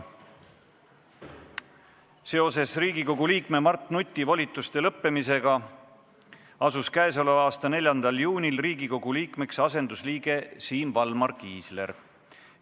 Seoses Riigikogu liikme Mart Nuti volituste lõppemisega asus k.a 4. juunil Riigikogu liikmeks asendusliige Siim Valmar Kiisler.